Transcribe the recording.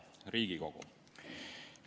Hea Riigikogu!